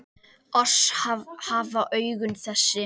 Oss hafa augun þessi